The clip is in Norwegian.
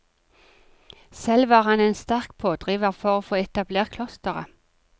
Selv var han en sterk pådriver for å få etablert klosteret.